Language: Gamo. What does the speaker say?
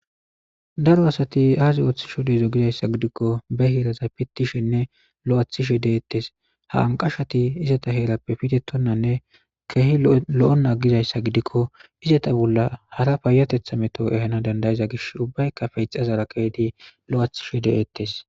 Daro asati aaze ooththi shode zo gizayssa gidikko be heeraza pittishenne lo7athishe deettes ha anqashati izata heerappe pitetonnanne kehi lo7on aggizayssa gidikko izata bolla hara paayatetha meto ehana dandayiza gish ubbaykka feixazara keedi lo7athishe de7eettes.